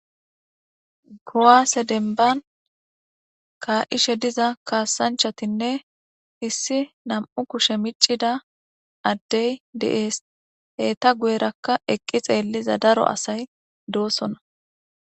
Kuwaase denban kaa'ishe diza kaasanchatinne issi nam'u kushe miccida addey de'ees heta guyerakka eqqi xeelliza daro asay doosona